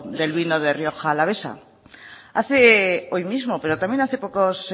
del vino de rioja alavesa hace hoy mismo pero también hace pocos